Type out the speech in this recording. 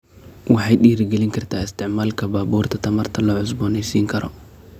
Waxay dhiirigelin kartaa isticmaalka baabuurta tamarta la cusboonaysiin karo.